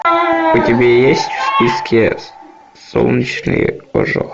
у тебя есть в списке солнечный ожог